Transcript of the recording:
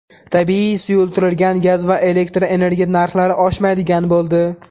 Tabiiy, suyultirilgan gaz va elektr energiya narxlari oshmaydigan bo‘ldi.